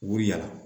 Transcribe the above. U yala